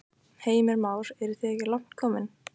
Heimir Már: En eru þið ekki langt komin?